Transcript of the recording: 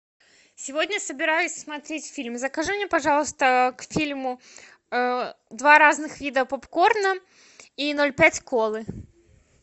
сегодня собираюсь смотреть фильм закажи мне пожалуйста к фильму два разных вида попкорна и ноль пять колы